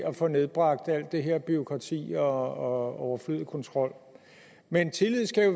at få nedbragt alt det her med bureaukrati og overflødig kontrol men tillid skal jo